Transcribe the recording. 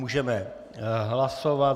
Můžeme hlasovat.